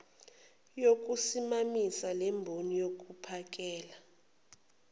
yokusimamisa lemboni yokuphakela